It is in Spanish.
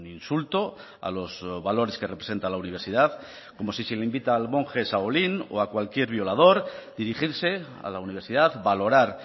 insulto a los valores que representa la universidad como si se le invita al monje shaolin o a cualquier violador dirigirse a la universidad valorar